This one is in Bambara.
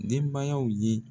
Denbayaw ye